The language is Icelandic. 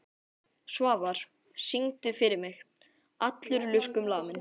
Svafar, syngdu fyrir mig „Allur lurkum laminn“.